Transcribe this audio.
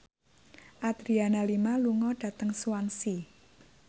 Adriana Lima lunga dhateng Swansea